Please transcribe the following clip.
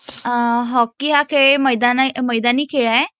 Hockey खेळ मैदानी खेळ आहे.